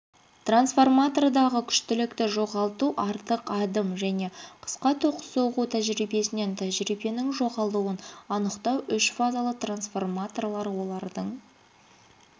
трансформатордағы күштілікті жоғалту артық адым және қысқа ток соғу тәжірибесінен тәжірибенің жоғалуын анықтау үшфазалы трансформаторлар олардың